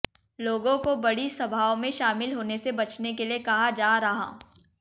लोगों को बड़ी सभाओं में शामिल होने से बचने के लिए कहा जा रहा